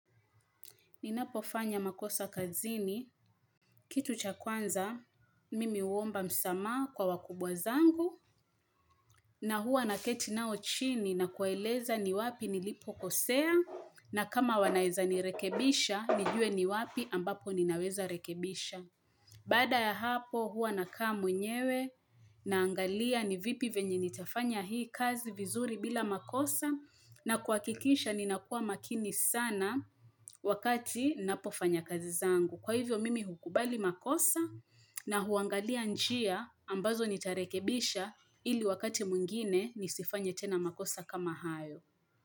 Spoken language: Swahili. Ninapofanya makosa kazini, kitu cha kwanza, mimi huomba msamaha kwa wakubwa zangu, na hua naketi nao chini na kuwaeleza ni wapi nilipo kosea, na kama wanaeza nirekebisha, nijue ni wapi ambapo ninaweza rekebisha. Baada ya hapo huwa nakaa mwenyewe naangalia ni vipi venye nitafanya hii kazi vizuri bila makosa na kuakikisha ninakua makini sana wakati napofanya kazi zangu. Kwa hivyo mimi hukubali makosa na huangalia njia ambazo nitarekebisha ili wakati mwingine nisifanye tena makosa kama hayo.